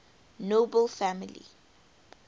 nobel family